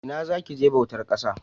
Ina za ki je bautar ƙasa?